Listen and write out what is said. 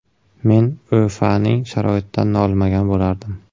Men O‘FAning sharoitidan nolimagan bo‘lardim.